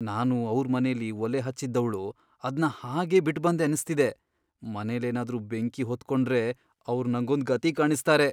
ನಾನು ಅವ್ರ್ ಮನೆಲಿ ಒಲೆ ಹಚ್ಚಿದ್ದವ್ಳು ಅದ್ನ ಹಾಗೇ ಬಿಟ್ಬಂದೆ ಅನ್ಸ್ತಿದೆ. ಮನೆಲೇನಾದ್ರೂ ಬೆಂಕಿ ಹೊತ್ಕೊಂಡ್ರೆ ಅವ್ರ್ ನಂಗೊಂದ್ ಗತಿ ಕಾಣಿಸ್ತಾರೆ.